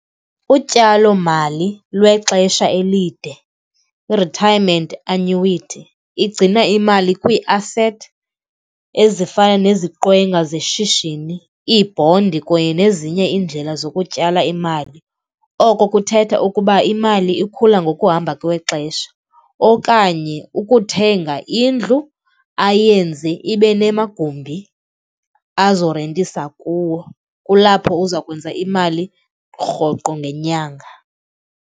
Utyalomali lwexesha elide, i-retirement annuity igcina imali kwiiasethi ezifana neziqwenga zeshishini, iibhondi kunye nezinye iindlela zokutyala imali. Oko kuthetha ukuba imali ikhula ngokuhamba kwexesha okanye ukuthenga indlu ayenze ibe namagumbi azorentisa kuwo, kulapho uza kwenza imali rhoqo ngenyanga.